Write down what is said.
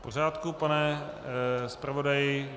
V pořádku, pane zpravodaji.